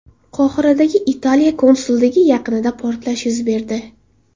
Qohiradagi Italiya konsulligi yaqinida portlash yuz berdi.